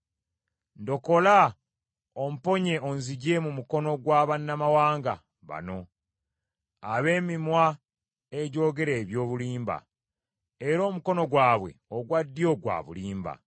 Ndokola, omponye onzigye mu mukono gwa bannamawanga bano ab’emimwa egyogera eby’obulimba, era omukono gwabwe ogwa ddyo gwa bulimba.